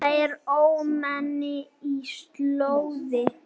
Þetta var ómenni og slóði.